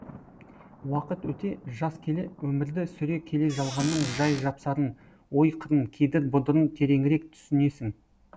уақыт өте жас келе өмірді сүре келе жалғанның жай жапсарын ой қырын кедір бұдырын тереңірек түсінесің